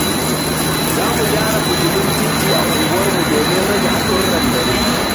Za mu gyara fitilun titi a unguwarmu domin rage haɗurran dare.